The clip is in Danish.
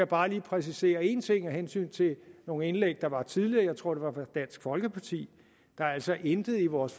bare lige præcisere en ting af hensyn til nogle indlæg der var tidligere jeg tror det var fra dansk folkeparti der er altså intet i vores